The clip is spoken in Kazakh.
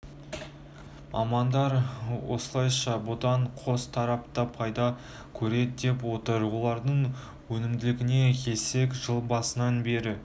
мамандар осылайша бұдан қос тарап та пайда көреді деп отыр олардың өнімділігіне келсек жыл басынан бері